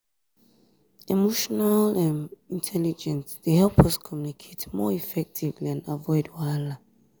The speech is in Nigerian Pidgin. emotional um intelligence um dey help us communicate more effectively and avoid wahala.